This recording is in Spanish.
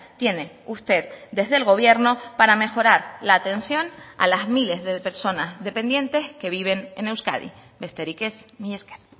tiene usted desde el gobierno para mejorar la atención a las miles de personas dependientes que viven en euskadi besterik ez mila esker